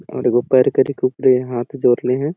और एगो पैर करके ऊपरे हाथ जोरले है।